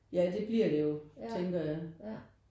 Ja det bliver det jo tænker jeg